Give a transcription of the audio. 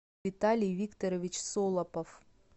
виталий викторович солопов